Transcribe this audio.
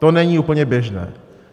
To není úplně běžné.